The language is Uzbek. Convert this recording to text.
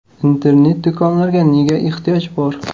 Internet-do‘konlarga nega ehtiyoj bor?